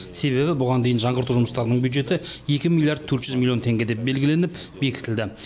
себебі бұған дейін жаңғырту жұмыстарының бюджеті екі миллиард төрт жүз миллион теңге деп белгіленіп бекітілді